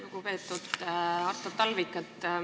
Lugupeetud Artur Talvik!